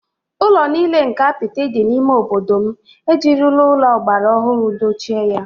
Ụlọ nile nke apịtị dị n’ime obodo m ejirila ụlọ ọgbara ọhụrụ dochie ya